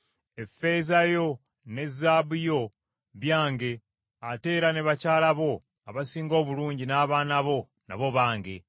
‘Effeeza yo ne zaabu yo byange ate era ne bakyala bo abasinga obulungi n’abaana bo nabo bange.’ ”